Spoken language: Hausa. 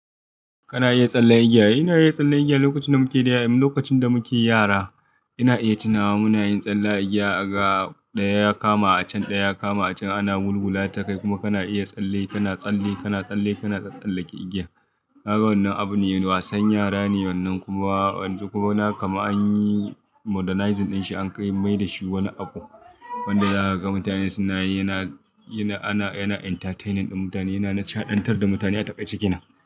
Kana iya tsalle igiya? Ina iya tsalle igiya. Lokacin da muke da— lokacin da muke yara ina iya tunawa muna yin tsalla igiya, aga ɗaya ya kama a can, ɗaya ya kama a can ana gulgula ta kai kuma kana iya tsalle, kana tsalle, kana tsalle, kana tsallake igiya. Na ga wannan abu ne, wasan yara ne wannan kuma yanzu kuma kama anyi modernizing din shi an kai mai da shi wani abu wanda za ga mutane suna yi. Yana, yana, ana, yana entertaining din mutane, yana nadcaɗantar da mutane a takaici kena.